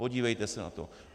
Podívejte se na to!